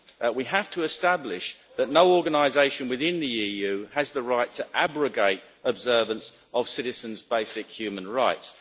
We have to establish that no organisation within the EU has the right to abrogate observance of citizens' basic human rights.